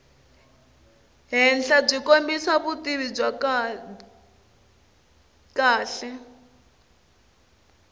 henhlabyi kombisa vutivi byo kahle